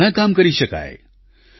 તેને માટે ઘણાં કામ કરી શકાય